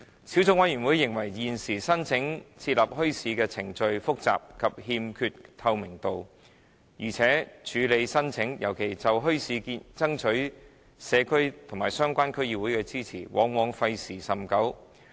小組委員會認為現時申請設立墟市的程序複雜，欠缺透明度，而且處理申請尤其就墟市爭取社區和相關區議會的支持，往往費時甚久。